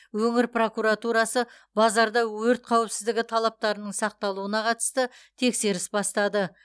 өңір прокуратурасы базарда өрт қауіпсіздігі талаптарының сақталуына қатысты тексеріс бастады